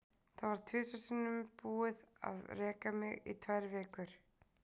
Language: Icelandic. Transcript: Það var tvisvar sinnum búið að reka mig í tvær vikur.